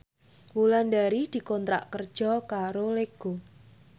Wulandari dikontrak kerja karo Lego